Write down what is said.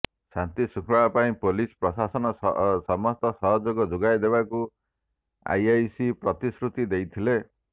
ଶାନ୍ତି ଶୃଙ୍ଖଳା ପାଇଁ ପୋଲିସ ପ୍ରଶାସନ ସମସ୍ତ ସହଯୋଗ ଯୋଗାଇ ଦେବାକୁ ଆଇଆଇସି ପ୍ରତିଶୃତି ଦେଇଥିଲେ